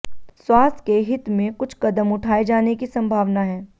स्वास्थ के हित में कुछ कदम उठाए जाने की संभावना है